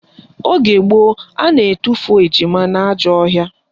Oge gboo, a na-atufu ejima n'ajọ ọhịa